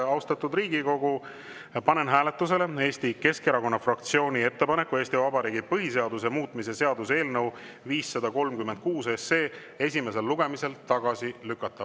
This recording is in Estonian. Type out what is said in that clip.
Austatud Riigikogu, panen hääletusele Eesti Keskerakonna fraktsiooni ettepaneku Eesti Vabariigi põhiseaduse muutmise seaduse eelnõu 536 esimesel lugemisel tagasi lükata.